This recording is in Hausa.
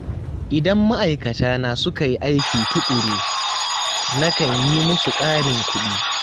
Idan ma'aikatana suka yi aiki tuƙuru, na kan yi musu ƙarin kuɗi.